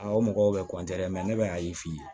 o mɔgɔw bɛ dɛ ne bɛ a ye f'i ye